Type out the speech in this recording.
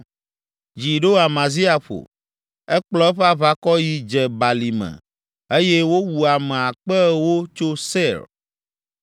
Dzi ɖo Amazia ƒo, ekplɔ eƒe aʋakɔ yi Dze Balime eye wowu ame akpe ewo tso Seir.